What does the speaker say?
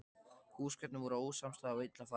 Húsgögnin voru ósamstæð og illa farin.